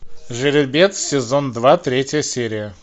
жеребец сезон два третья серия